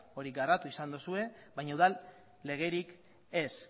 hori garatu izan duzue baina udal legerik ez